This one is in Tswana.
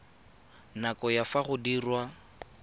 nako ya fa go diriwa